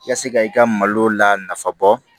I ka se ka i ka malo la nafa bɔ